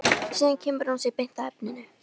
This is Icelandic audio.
Síðan kemur hún sér beint að efninu.